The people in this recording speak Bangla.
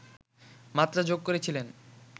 মাত্রা যোগ করেছিলেন